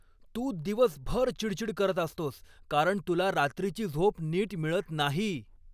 तू दिवसभर चिडचिड करत असतोस कारण तुला रात्रीची झोप नीट मिळत नाही.